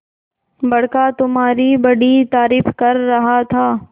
बड़का तुम्हारी बड़ी तारीफ कर रहा था